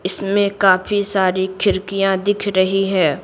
इसमें काफी सारी खिड़कियां दिख रही है।